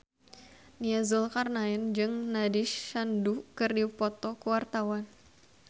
Nia Zulkarnaen jeung Nandish Sandhu keur dipoto ku wartawan